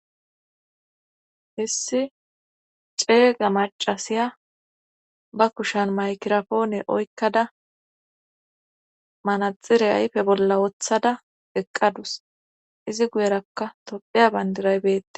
Hissi ceega macasiya ba kushan maykirapoone oykkada manaxire aype bolla woththada eqqadus izi guyerakka topheya bandiraybette